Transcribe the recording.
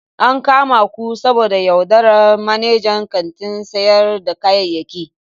An kama ku saboda yaudarar manajan kantin sayar da kayayyaki.